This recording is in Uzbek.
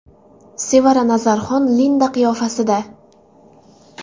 Sevara Nazarxon Linda qiyofasida.